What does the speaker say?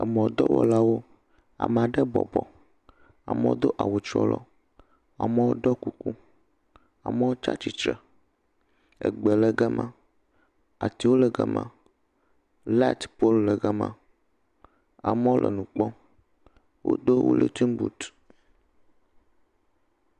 Emɔdɔwɔlawo, ame aɖe bɔbɔ, ame aɖe do awu trɔlɔ, amewo do kuku amewo tsi astitre egbe le gama atiwo le gama, light poluwo le gama amewo le nu kpɔm wodo willington boot